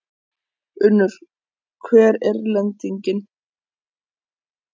Unnur, hver er lendingin?